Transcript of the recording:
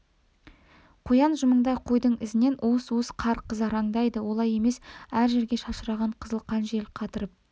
қоян жымыңдай қойдың ізінен уыс-уыс қар қызараңдайды олай емес әр жерге шашыраған қызыл қан жел қатырып